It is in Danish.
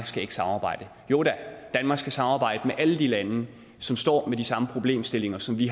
skal samarbejde jo da danmark skal samarbejde med alle de lande som står med de samme problemstillinger som vi